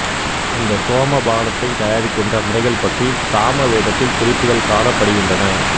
இந்த சோம பானத்தினை தயாரிக்கின்ற முறைகள் பற்றி சாம வேதத்தில் குறிப்புகள் காணப்படுகின்றன